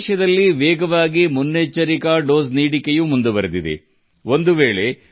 ದೇಶದಲ್ಲಿ ಮುನ್ನೆಚ್ಚರಿಕೆ ಡೋಸ್ ಕೂಡಾ ತ್ವರಿತವಾಗಿ ನೀಡಲಾಗುತ್ತಿದೆ